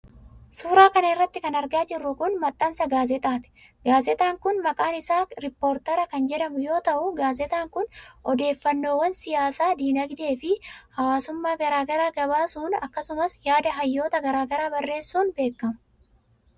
Suura kana irratti kan argaa jirru kun, maxxansa gaazexaati. Gaazexaan kun, maqaan isaa rippoortar kan jedhamu yoo ta'u, gaazexaan kun odeeffannoowwan siyaasaa, diinagdee fi hawaasummaa garaa garaa gabaasun akkasumas yaada hayyoota garaa garaa barreessuun beekama.